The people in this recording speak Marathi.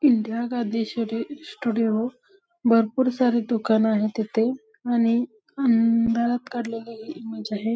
इंदिरा गांधी सीडी स्टुडिओ भरपूर सारे दुकान आहे तिथे आणि अंधारात काढलेली ही इमेज आहे.